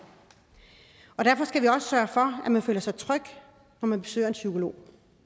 og derfor skal vi også sørge for at man føler sig tryg når man besøger en psykolog